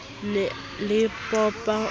ne a le popa o